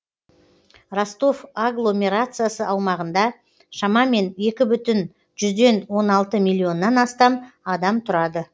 ростов агломерациясы аумағында шамамен екі бүтін жүзден он алты миллионнан астам адам тұрады